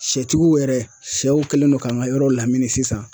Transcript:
Sɛtigiw yɛrɛ sɛw kɛlen no k'an ka yɔrɔ lamini sisan.